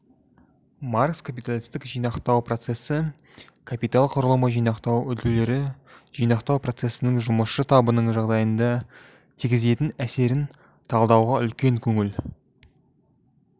маркс капиталистік жинақтау процесі капитал құрылымы жинақтау үлгілері жинақтау процесінің жұмысшы табының жағдайына тигізетін әсерін талдауға үлкен көңіл